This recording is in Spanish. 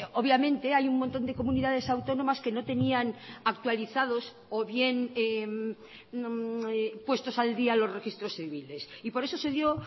obviamente hay un montón de comunidades autónomas que no tenían actualizados o bien puestos al día los registros civiles y por eso se dio